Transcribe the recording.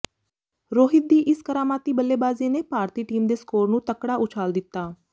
ਰੋਹਿਤ ਦੀ ਇਸ ਕਰਾਮਾਤੀ ਬੱਲੇਬਾਜ਼ੀ ਨੇ ਭਾਰਤੀ ਟੀਮ ਦੇ ਸਕੋਰ ਨੂੰ ਤਕੜਾ ਉਛਾਲ ਦਿੱਤਾ